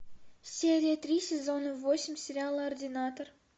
серия три сезона восемь сериала ординатор